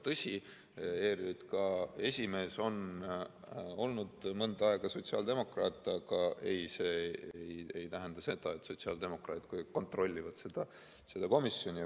Tõsi, ERJK esimees on olnud mõnda aega sotsiaaldemokraat, aga ei, see ei tähenda seda, et sotsiaaldemokraadid kontrollivad seda komisjoni.